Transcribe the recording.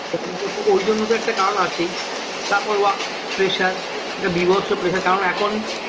ও ওই জন্য তো একটা কারণ আছেই তারপর work pressure একটা বীভৎস pressure কারণ এখন